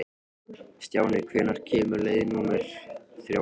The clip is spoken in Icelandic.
Stjáni, hvenær kemur leið númer þrjátíu?